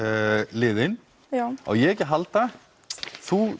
liðin á ég ekki að halda þú